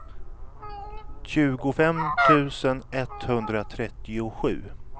tjugofem tusen etthundratrettiosju